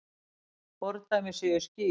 Fordæmi séu skýr.